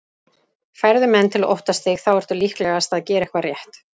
Færðu menn til að óttast þig þá ertu líklegast að gera eitthvað rétt.